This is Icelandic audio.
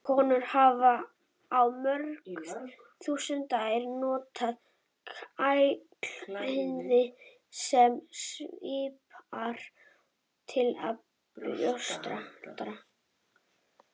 Konur hafa í mörg þúsund ár notað klæði sem svipar til brjóstahaldara.